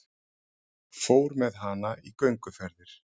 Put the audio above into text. Fór með hana í gönguferðir.